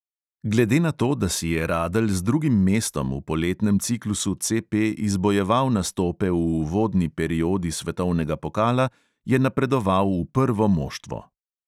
Glede na to, da si je radelj z drugim mestom v poletnem ciklusu CP izbojeval nastope v uvodni periodi svetovnega pokala, je napredoval v prvo moštvo.